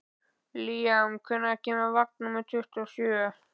Líam, hvenær kemur vagn númer tuttugu og sjö?